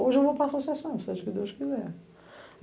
Hoje eu vou para a associação, se Deus quiser.